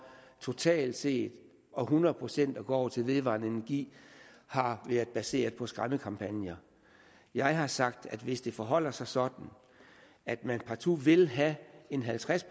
totalt set og hundrede procent at gå over til vedvarende energi har været baseret på skræmmekampagner jeg har sagt at hvis det forholder sig sådan at man partout vil have en halvtreds